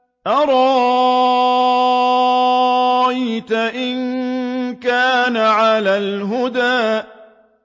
أَرَأَيْتَ إِن كَانَ عَلَى الْهُدَىٰ